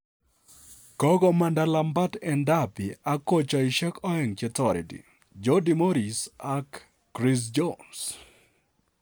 Kokomanda Lampard en Derby ak kochisiekyik aeng che toreti, Jody Morris ak Chris Jones